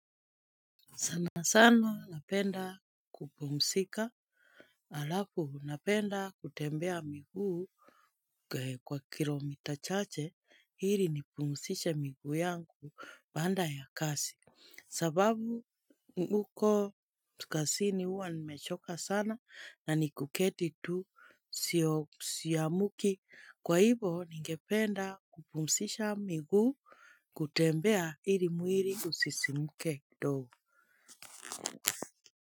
Sana sana napenda kupumzika halafu napenda kutembea miguu. Kwa kilo mita chache ili nipumzishe miguu yangu baada ya kazi. Sababu huko kazini huwa nimechoka sana na ni kuketi tu siamuki kwa hivo ningependa kupumzisha miguu. Kutembea ili mwili usisimke kidogo.